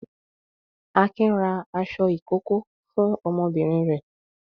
Akin ra aṣọ ìkókó fún ọmọbìnrin rẹ̀.